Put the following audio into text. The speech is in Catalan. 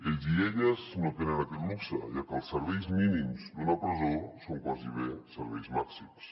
ells i elles no tenen aquest luxe ja que els serveis mínims d’una presó són gairebé serveis màxims